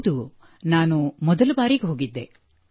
ಹೌದು ನಾನು ಮೊದಲ ಬಾರಿಗೆ ಹೋಗಿದ್ದೆ